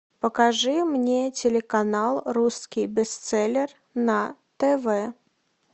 покажи мне телеканал русский бестселлер на тв